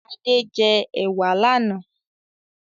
Ade jẹ ewa lànà